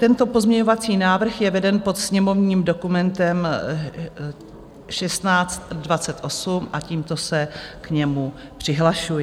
Tento pozměňovací návrh je veden pod sněmovním dokumentem 1628 a tímto se k němu přihlašuji.